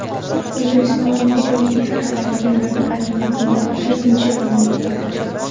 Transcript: O‘zbekiston ijobiy fikrlaydigan davlatlar reytingida to‘rtinchi o‘rinni egalladi.